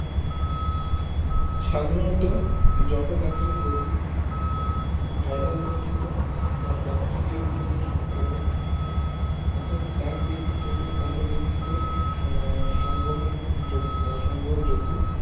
সাধারণত যখন একজন রুগী ভাইরাস গঠিত বা বেক্টেৰিয়া গঠিত সংক্রমক অর্থাৎ এক ব্যক্তি থেকে অন্য ব্যাক্তিতে আহ সংবহন যোগ্য সংবহন যোগ্য